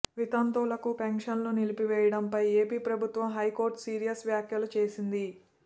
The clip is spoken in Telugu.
వితంతువులకు పెన్షన్లు నిలిపివేయడంపై ఏపీ ప్రభుత్వంపై హైకోర్టు సీరియస్ వ్యాఖ్యలు చేసింది